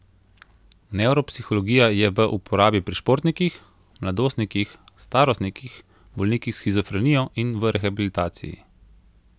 Nevropsihologija je v uporabi pri športnikih, mladostnikih, starostnikih, bolnikih s shizofrenijo in v rehabilitaciji.